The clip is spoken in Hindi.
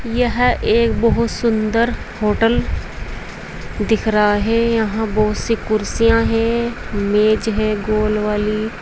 यह एक बहुत सुंदर होटल दिख रहा है यहां बहुत सी कुर्सियां हैं मेज हैं गोल वाली।